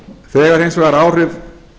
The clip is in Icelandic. þegar hins vegar áhrif